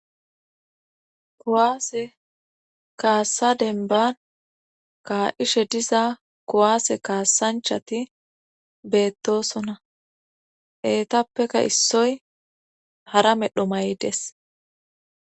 kowaase kaassadenban kaa7ishe diza kowaase kaasanchati beettosona eetappeka issoy hara medho maydes